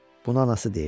Bunu anası deyirdi.